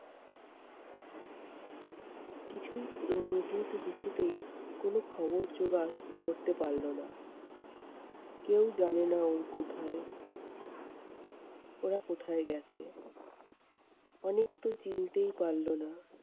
কিছুই উম কিন্তু কিছুতেই কোনো খবর জোগাড় করতে পারলো না। কেউ জানেনা ও কোথায় ওরা কোথায় গেছে, অনেক তো চিনতেই পারলো না।